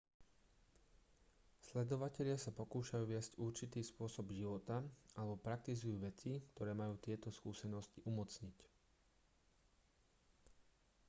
sledovatelia sa pokúšajú viesť určitý spôsob života alebo praktizujú veci ktoré majú tieto skúsenosti umocniť